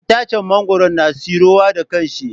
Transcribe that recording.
Itaccen mangwaro na tsiro wa da kanshi.